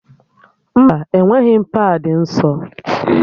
Mba, enweghị m paadị nsọ